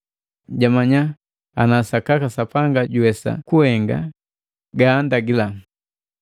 Jamanya ana sakaka Sapanga juwesa kuhenga gala gaandagila.